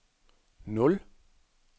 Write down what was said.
nul